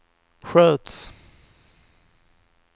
sköts